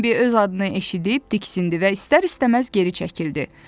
Bembi öz adını eşidib diksindi və istər-istəməz geri çəkildi.